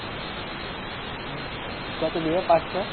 কত দেবে? পাঁচশো।